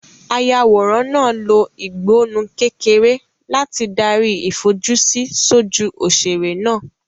Ayàwòrán náà lo ìgbọnnu kékeré láti darí ìfojúsí sójú òṣèré náà.